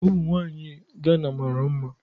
Ụmụ nwanyị Gana mara mma.